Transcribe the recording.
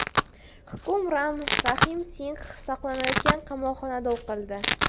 Hukm Ram Rahim Singx saqlanayotgan qamoqxonada o‘qildi.